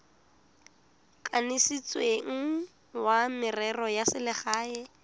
kanisitsweng wa merero ya selegae